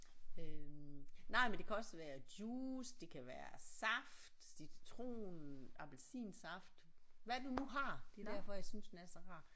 Øh nej men det kan også være juice det kan være saft citron appelsinsaft hvad du nu har det er derfor jeg synes den er så rar